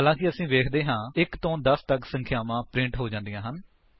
ਹਾਲਾਂਕਿ ਅਸੀ ਵੇਖਦੇ ਹਾਂ 1 ਤੋਂ 10 ਤੱਕ ਸੰਖਿਆਵਾਂ ਪ੍ਰਿੰਟ ਹੋ ਜਾਂਦੀਆਂ ਹਨ